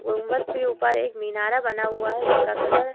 गुम्बद के ऊपर एक मीनार बना हुआ है जिसका कलर --